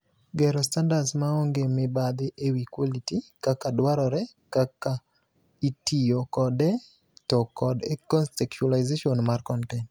Gero standards maonge mibadhi ewii quality ,kaka dwarore, kaka itiro kode to kod contextualisation mar kontent.